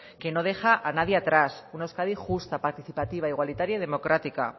que no deja a nadie atrás una euskadi justa participativa igualitaria y democrática